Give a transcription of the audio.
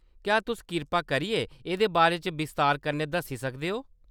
क्या तुस किरपा करियै एह्‌‌‌दे बारे च बस्तार कन्नै दस्सी सकदे ओ ?